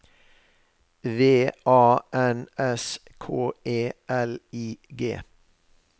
V A N S K E L I G